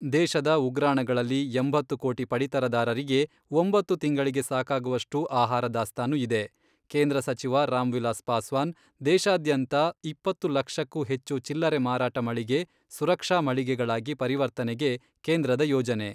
ದೇಶದ ಉಗ್ರಾಣಗಳಲ್ಲಿ ಎಂಬತ್ತು ಕೋಟಿ ಪಡಿತರದಾರರಿಗೆ ಒಂಬತ್ತು ತಿಂಗಳಿಗೆ ಸಾಕಾಗುವಷ್ಟು ಆಹಾರ ದಾಸ್ತಾನು ಇದೆ, ಕೇಂದ್ರ ಸಚಿವ ರಾಮ್ವಿಲಾಸ್ ಪಾಸ್ವಾನ್, ದೇಶಾದ್ಯಂತ ಇಪ್ಪತ್ತು ಲಕ್ಷಕ್ಕೂ ಹೆಚ್ಚು ಚಿಲ್ಲರೆ ಮಾರಾಟ ಮಳಿಗೆ ಸುರಕ್ಷಾ ಮಳಿಗೆಗಳಾಗಿ ಪರಿವರ್ತನೆಗೆ ಕೇಂದ್ರದ ಯೋಜನೆ.